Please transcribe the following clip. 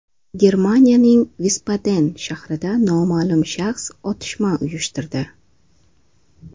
Germaniyaning Visbaden shahrida noma’lum shaxs otishma uyushtirdi.